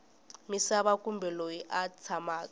misava kumbe loyi a tshamaka